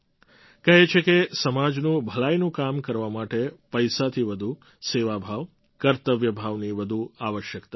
કહે છે કે સમાજનું ભલાઈનું કામ કરવા માટે પૈસાથી વધુ સેવા ભાવ કર્તવ્ય ભાવની વધુ આવશ્યકતા હોય છે